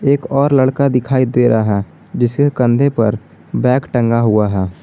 एक और लड़का दिखाई दे रहा है जिसके कंधे पर बैग टंगा हुआ है।